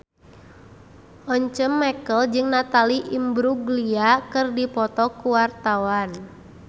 Once Mekel jeung Natalie Imbruglia keur dipoto ku wartawan